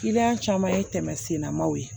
caman ye tɛmɛ sennamanw ye